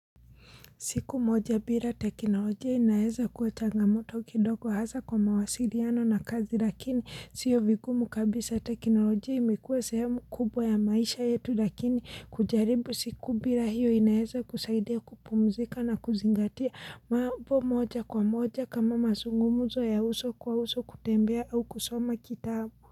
Siku moja bila teknolojia inaeza kuwa changamoto kidogo hasa kwa mawasiliano na kazi lakini sio vigumu kabisa teknolojia imekuwa sehemu kubwa ya maisha yetu lakini kujaribu siku bila hiyo inaeza kusaidia kupumzika na kuzingatia mambo moja kwa moja kama masungumuzo ya uso kwa uso kutembea au kusoma kitabu.